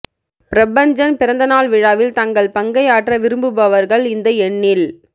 பிரபஞ்சன் பிறந்த நாள் விழாவில் தங்கள் பங்கை ஆற்ற விரும்புபவர்கள் இந்த எண்ணில்